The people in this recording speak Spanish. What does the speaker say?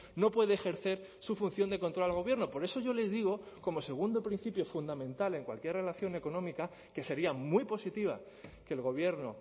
no puede ejercer su función de control al gobierno por eso yo les digo como segundo principio fundamental en cualquier relación económica que sería muy positiva que el gobierno